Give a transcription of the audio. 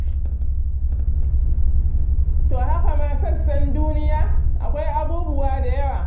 To haka ma sauran sassan duniya, akwai abubuwa da yawa.